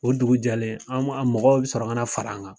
O dugu jɛlen an an mɔgɔw bɛ sɔrɔ ka na fara an kan.